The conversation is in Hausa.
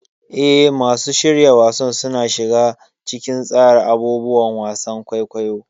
Eh, masu shirya wasan suna shiga cikin tsara abubuwan wasan kwaikwayo.